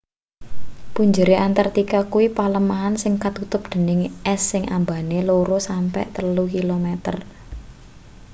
punjere antartika kuwi palemahan sing katutup dening es sing ambane 2-3 km